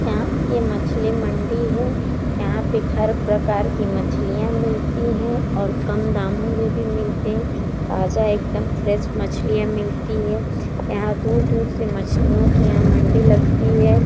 यहाँ ये मछली मंडी है। यहाँ पे हर प्रकार की मछलियां मिलती है और कम दामो में भी मिलते ताज़ा एकदम फरेश मछलियां मिलती हैं। यहाँ दूर-दूर से मछलियों की यहाँ मंडी लगती है।